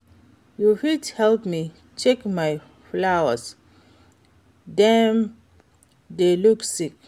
You fit help me check my flowers, dem dey look sick.